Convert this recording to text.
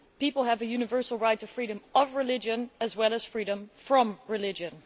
People have a universal right to freedom of religion as well as freedom from religion.